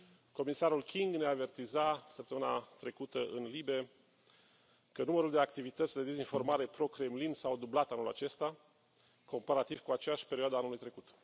Comisarul King ne avertiza săptămâna trecută în LIBE că numărul de activități de dezinformare pro Kremlin s a dublat anul acesta comparativ cu aceeași perioadă a anului trecut.